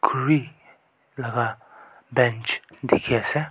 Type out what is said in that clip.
Khuri laga bench dekhe ase.